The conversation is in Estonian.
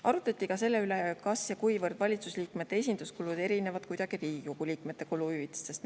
Arutati ka seda, kas või kuivõrd erinevad valitsuse liikmete esinduskulud Riigikogu liikmete kuluhüvitistest.